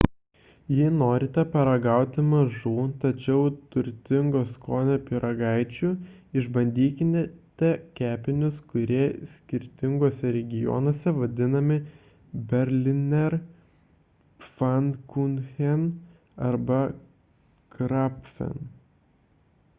jei norite paragauti mažų tačiau turtingo skonio pyragaičių išbandykite kepinius kurie skirtinguose regionuose vadinami berliner pfannkuchen arba krapfen